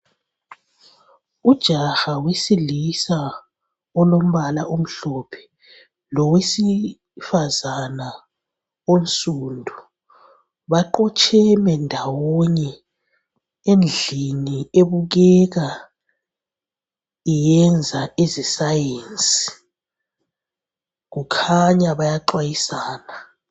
Ujaha wesilisa olombala omhlophe ,lowesifazana onsundu .Baqotsheme ndawonye endlini ebukeka iyenza eze sayensi .Kukhanya bayaxwayisana.